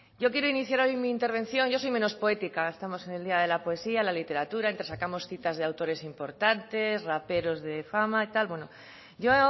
yo quiero iniciar mi intervención yo soy menos poética estamos en el día de la poesía la literatura entresacamos citas de autores importantes raperos de fama y tal yo